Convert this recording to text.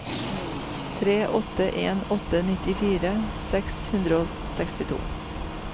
tre åtte en åtte nittifire seks hundre og sekstito